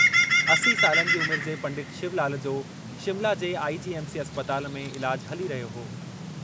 असी सालनि जी उमिरि जे पंडित शिवलाल जो शिमला जे आईजीएमसी अस्पताल में इलाजु हली रहियो हो।